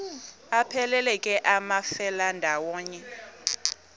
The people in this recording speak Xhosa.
aphelela ke amafelandawonye